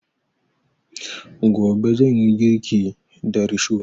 Gobe zan yi girki da risho